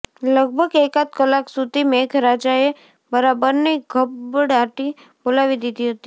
લગભગ એકાદ કલાક સુધી મેઘરાજાએ બરાબરની ધબડાટી બોવાલી દીધી હતી